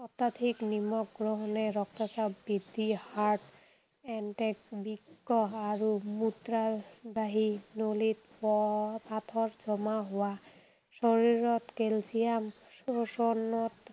অত্যাধিক নিমখ গ্ৰহণে ৰক্তচাপ বৃদ্ধি, heart attack, বৃক্ক আৰু মূত্ৰবাহী নলীত পাথৰ জমা হোৱা, শৰীৰত কেলছিয়াম শোষণত